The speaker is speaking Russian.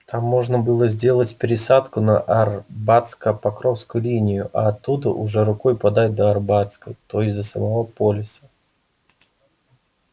там можно было сделать пересадку на арбатско-покровскую линию а оттуда уже рукой подать до арбатской то есть до самого полиса